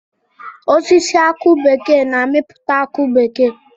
Osisi aki bekee na-amipụta akụ bekee.